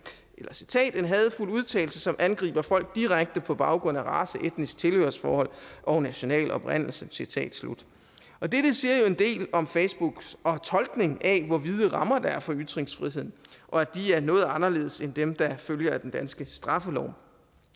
citerer hadefuld udtalelse som angriber folk direkte på baggrund af race etnisk tilhørsforhold og national oprindelse citat slut dette siger jo en del om facebooks tolkning af hvor vide rammer der er for ytringsfriheden og at de er noget anderledes end dem der følger af den danske straffelov